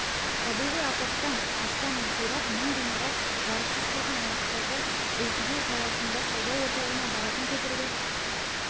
табиғи апаттан астам үй қирап мың ғимарат жарықсыз қалған аймақтағы элквью қаласында сауда орталығына баратын көпірді